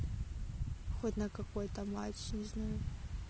хоть на какой-то матч не знаю